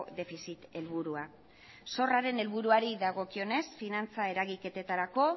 defizit helburua zorraren helburuari dagokionez finantza eragiketetarako